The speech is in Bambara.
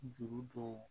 Juru dɔw